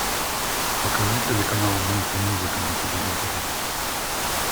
покажи телеканал мульти музыка на телевизоре